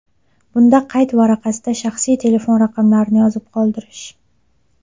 Bunda qayd varaqasida shaxsiy telefon raqamlarini yozib qoldirish.